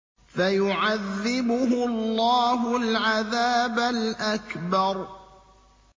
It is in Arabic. فَيُعَذِّبُهُ اللَّهُ الْعَذَابَ الْأَكْبَرَ